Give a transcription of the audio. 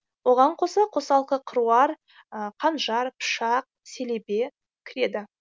оған қоса қосалқы қыруар қанжар пышақ селебе кіреді